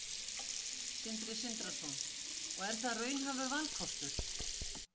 Sindri Sindrason: Og er það raunhæfur valkostur?